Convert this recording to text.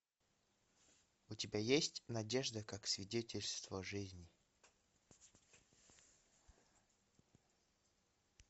у тебя есть надежда как свидетельство жизни